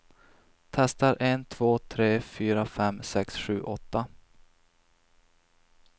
Testar en två tre fyra fem sex sju åtta.